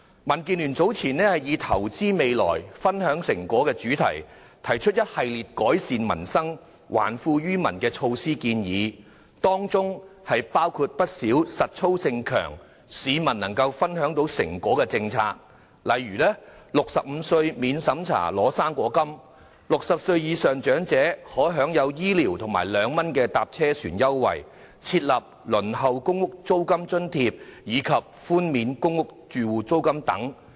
民建聯早前以"投資未來，分享成果"為主題，提出一系列改善民生、還富於民的建議措施，當中包括不少容易實行而且能讓市民分享經濟成果的政策，包括65歲免審查領取"生果金"、60歲以上長者享有醫療券及兩元乘車船優惠、提供輪候公屋租金津貼，以及寬免公屋住戶租金等。